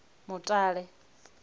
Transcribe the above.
mutale